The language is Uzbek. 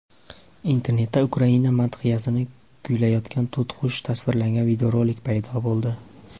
Internetda Ukraina madhiyasini kuylayotgan to‘tiqush tasvirlangan videorolik paydo bo‘ldi.